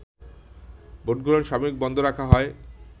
ভোটগ্রহণ সাময়িক বন্ধ রাখা হয়